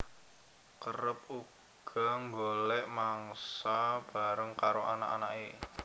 Kerep uga nggolek mangsa bareng karo anak anake